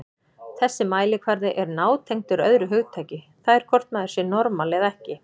Þessi mælikvarði er nátengdur öðru hugtaki, það er hvort maður sé normal eða ekki.